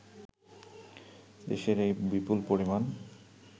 দেশের এই বিপুল পরিমাণ